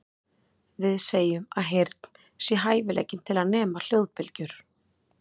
Við segjum að heyrn sé hæfileikinn til að nema hljóðbylgjur.